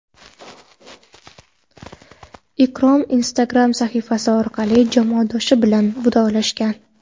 Ikrom Instagram sahifasi orqali jamoadoshi bilan vidolashgan.